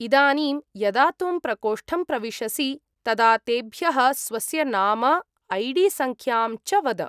इदानीं, यदा त्वं प्रकोष्ठं प्रविशसि तदा तेभ्यः स्वस्य नाम ऐ.डी. सङ्ख्यां च वद।